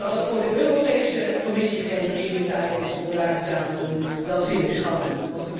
Maar dat dat voor de Europese Commissie geen prioriteit is om daar iets aan te doen, dat vind ik schandelijk.